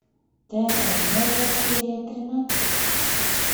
терра новая серия тринадцать